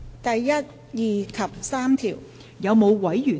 第1、2及3條。